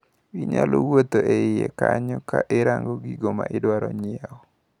Inyalo wuotho e iye kanyo kirango gigo maidwaro nyiewo.